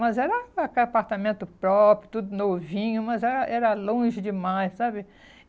Mas era até apartamento próprio, tudo novinho, mas era era longe demais, sabe?